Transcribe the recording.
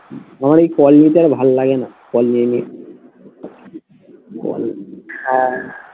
আমার এই calling টা আর ভাল্লাগেনা call নিয়ে নিয়ে হ্যাঁ